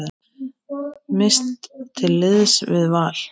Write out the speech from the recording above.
Mist til liðs við Val